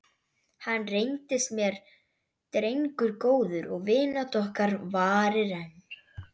Hann reyndist mér drengur góður og vinátta okkar varir enn.